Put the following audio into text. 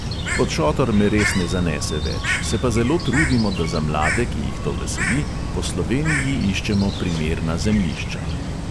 Pod šotor me res ne zanese več, se pa zelo trudimo, da za mlade, ki jih to veseli, po sloveniji iščemo primerna zemljišča.